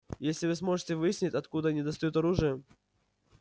если вы сможете выяснить откуда они достают оружие